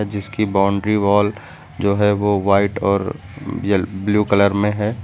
जिसकी boundary wall जो है वो वाइट और यल ब्लू कलर में है।